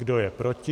Kdo je proti?